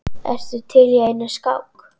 Ertu til í eina skák?